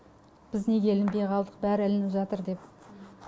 біз неге ілінбей қалдық бәрі ілініп жатыр деп